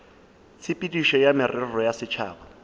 tshepedišo ya merero ya setšhaba